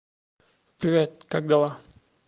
привет как дела